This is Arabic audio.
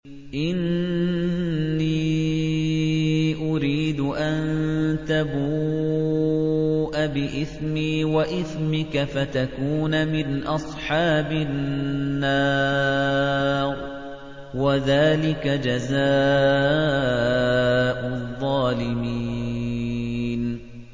إِنِّي أُرِيدُ أَن تَبُوءَ بِإِثْمِي وَإِثْمِكَ فَتَكُونَ مِنْ أَصْحَابِ النَّارِ ۚ وَذَٰلِكَ جَزَاءُ الظَّالِمِينَ